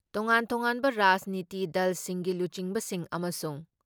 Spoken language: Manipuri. ꯇꯣꯉꯥꯟ ꯇꯣꯉꯥꯟꯕ ꯔꯥꯖꯅꯤꯇꯤ ꯗꯜꯁꯤꯡꯒꯤ ꯂꯨꯆꯤꯡꯕꯁꯤꯡ ꯑꯃꯁꯨꯡ